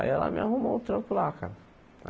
Aí ela me arrumou um trampo lá, cara.